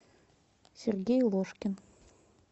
сергей ложкин